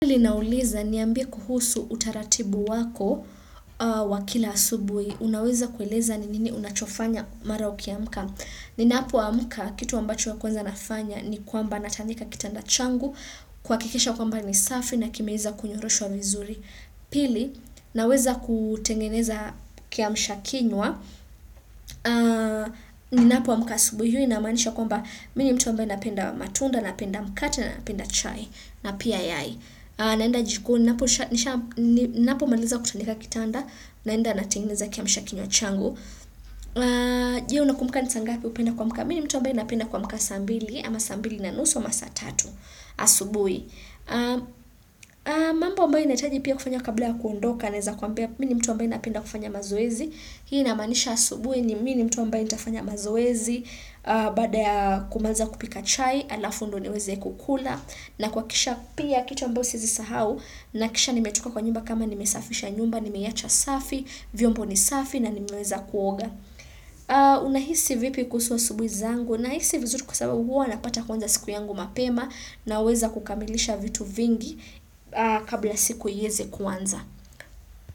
Pili nauliza niambie kuhusu utaratibu wako wa kila asubui. Unaweza kueleza ni nini unachofanya mara ukiamka. Ninapo amka, kitu wambacho wa kwanza nafanya ni kwamba natandika kitanda changu, kwakikisha kwamba ni safi na kimeza kunyoroshwa vizuri. Pili, naweza kutengeneza kiamshakinywa. Ninapo amka asubuhi, hiyo inamanisha kwamba mini mtu ambaye napenda matunda, napenda mkate, napenda chai, na pia. Naenda jikoni, napomaliza kutandika kitanda naenda natengeneza kiamshakinyo changu je unakumbuka nisangapi upenda kwamka mi ni mtu ambaye napenda kwamka saa ambili ama sambili na nusu ama saa tatu asubui mambo ambaye nahitaji pia kufanya kabla ya kuondoka neza kuambia mi ni mtu ambaye napenda kufanya mazoezi hii inamanisha asubui ni mini mtu ambaye nitafanya mazoezi bada ya kumaliza kupika chai, alafu ndo niweze kukula na kwakisha pia kitu ambayo siwezisahau nakisha nimetoka kwa nyumba kama nimesafisha nyumba, nimeyacha safi, vyombo ni safi na nimeweza kuoga. Unaisi vipi kuhusu asubui zangu na hisi vizuri kwa sababu huwa napata kwanza siku yangu mapema na uweza kukamilisha vitu vingi kabla siku iyeze kwanza.